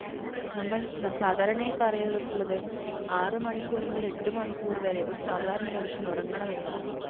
നമ്മൾ സാധാരണയായി പറഞ്ഞിട്ടുള്ളത് ആറു മണിക്കൂർ മുതൽ എട്ടു മണിക്കൂർ വരെ ഒരു സാധാരണ മനുഷ്യൻ ഉറങ്ങണമെന്നാണ്.